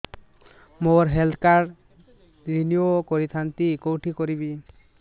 ମୋର health card renew କରିଥାନ୍ତି କୋଉଠି କରିବି